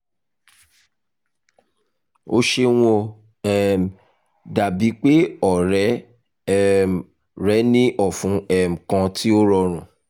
o ṣeun o um dabi pe ọrẹ um rẹ ni ọfun um kan ti o rọrun